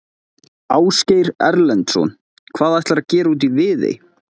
Ásgeir Erlendsson: Hvað ætlarðu að gera úti í Viðey?